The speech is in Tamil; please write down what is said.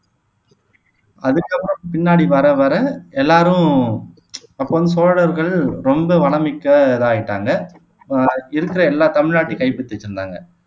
அதுக்கப்புறம் பின்னாடி வர வர எல்லாரும் அப்போ வந்து சோழர்கள் ரொம்ப வளம் மிக்கதா ஆயிட்டாங்க அஹ் இருக்கிற எல்லா தமிழ்நாட்டையும் கைப்பற்றிட்டு இருந்தாங்க